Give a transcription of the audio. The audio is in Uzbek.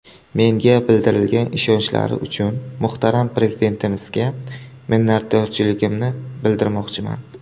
Menga bildirgan ishonchlari uchun muhtaram Prezidentimizga minnatdorligimni bildirmoqchiman.